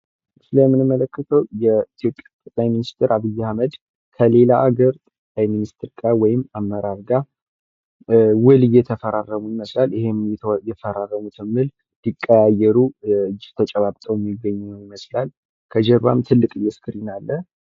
ይህ የምንመለከተው የኢትዮጵያ ጠቅላይ ሚኒስቴር አብይ አህመድ ከሌላ ሃገር ሚኒስቴር ጋር ወይም አመራር ጋር ውል እየተፈራረሙ ይመስላል። ይህም የሚፈራረሙትን ውል ሊቀያየሩ እጅ ተጨባብጠው ይመስላል። ከጀርባ ትልቅዬ እስክሪን አለ።